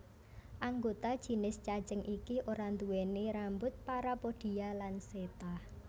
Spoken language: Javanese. Anggota jinis cacing iki ora nduweni rambut parapodia lan seta